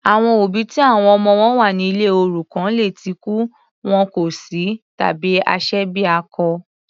Àwọn òbí ti àwọn ọmọ wọn wà ní ilé òrukàn lè tí kú, wọn kò sí tàbí aṣebiakọ.